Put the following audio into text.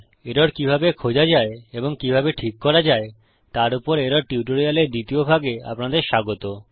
error কিভাবে খোঁজা যায় এবং কিভাবে ঠিক করা যায়তার উপর এরর টিউটোরিয়ালের দ্বিতীয় ভাগে আপনাদের স্বাগত